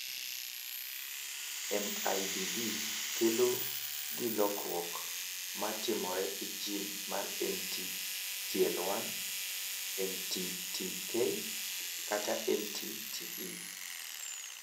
MIDD kelo gi lokruok ma timore e jin mar MT TL1, MT TK, kata MT TE.